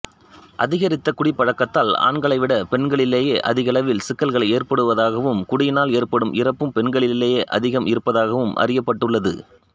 அதிகரித்த குடிப்பழக்கத்தால் ஆண்களை விட பெண்களிலேயே அதிகளவில் சிக்கல்கள் ஏற்படுவதாகவும் குடியினால் ஏற்படும் இறப்பும் பெண்களிலேயே அதிகம் இருப்பதாகவும் அறியப்பட்டுள்ளது